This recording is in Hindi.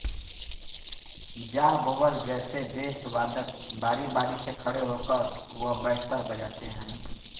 जाह वोबल जैसे बेस वादक बारी बारी से खड़े होकर व बैठकर बजाते हैं